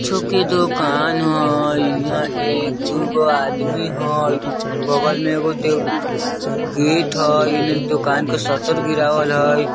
कुछो के दोकान हय हीया एक दु गो आदमी हय बगल मे एगो दे गेट हय एने दोकान के शटर गिरावल हय।